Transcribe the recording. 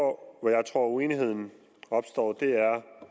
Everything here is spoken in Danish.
hvor jeg tror uenigheden opstår